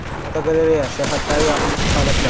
Fotogalereya: Sayohatdagi yoqimsiz holatlar.